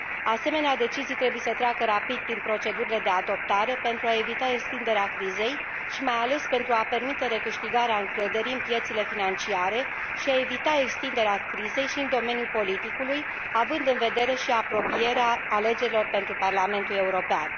Asemenea decizii trebuie să treacă rapid prin procedurile de adoptare pentru a evita extinderea crizei și, mai ales, pentru a permite recâștigarea încrederii în piețele financiare și a evita extinderea crizei și în domeniul politicului, având în vedere și apropierea alegerilor pentru Parlamentul European.